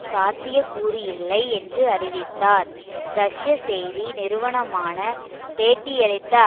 சாத்தியக்கூறு இல்லை என்று அறிவித்தார் ரஷ்ய செய்தி நிறுவனமான பேட்டியளித்த